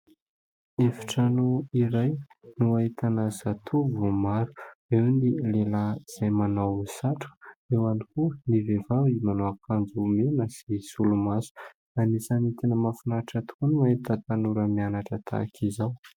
Efitrano iray no ahitana zatovo maro, eo ny lehilahy izay manao satroka, eo ihany koa ny vehivavy manao akanjo mena sy solomaso. Anisan'ny tena mahafinaritra tokoa ny mahita tanora mianatra tahaka izao.